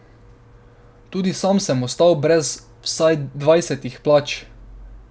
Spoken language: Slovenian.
Tudi sam sem ostal brez vsaj dvajsetih plač.